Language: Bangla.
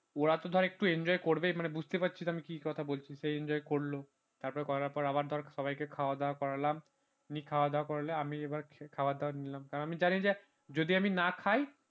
একটু enjoy করবে মানে বুঝতেই পারছিস আমি কি কথা বলছি ওরা একটু enjoy করল করার পর তারপর ধর সবাইকে খাওয়া দাওয়া করালাম নিয়ে খাওয়া দাওয়া করালে আমি এবার খাওয়া দাওয়া নিলাম কারণ আমি জানি যে যদি আমি না খাই